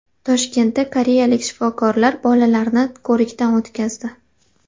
Toshkentda koreyalik shifokorlar bolalarni ko‘rikdan o‘tkazdi.